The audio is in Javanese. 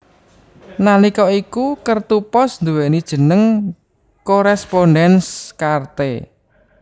Nalika iku kertu pos nduwéni jeneng Correspondenz Karte